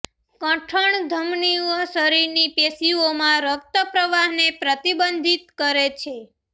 કઠણ ધમનીઓ શરીરની પેશીઓમાં રક્ત પ્રવાહને પ્રતિબંધિત કરે છે